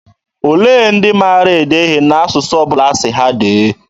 Olee ndị maara ede ihe n'asụsụ ọ bụla asị ha dee?